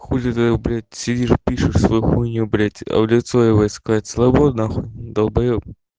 хули ты блять сидишь пишешь свою хуйню блять а в лицо ебать сказать слобо нахуй долбаеб